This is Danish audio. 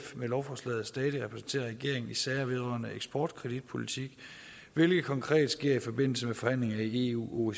med lovforslaget stadig repræsentere regeringen i sager vedrørende eksportkreditpolitik hvilket konkret sker i forbindelse med forhandlinger i eu